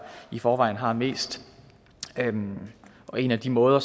i forvejen har mest og en af de måder